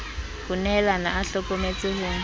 ho nehalana a hlokometse ho